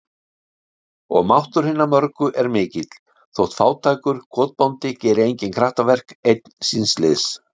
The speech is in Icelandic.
Og máttur hinna mörgu er mikill, þótt fátækur kotbóndi geri engin kraftaverk, einn síns liðs.